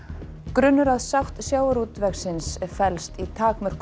grunnur að sátt sjávarútvegsins felst í